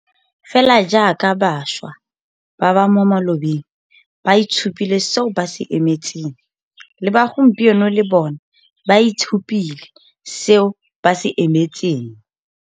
Fela jaaka bašwa ba mo malobeng ba itshupile seo ba se emetseng, le ba gompieno le bona ba itshupile seo ba se emetseng.